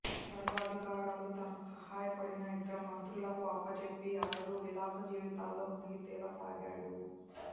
సర్వాధికారాలూ తనకు సహాయపడిన ఇద్దరు మంత్రులకూ అప్పజెప్పి అతడు విలాస జీవితాల్లో మునిగి తేలసాగాడు